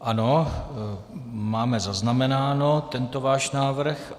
Ano, máme zaznamenán tento vás návrh.